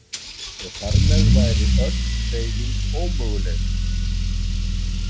Og þar með væri öll hreyfing ómöguleg.